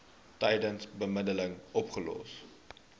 tydens bemiddeling opgelos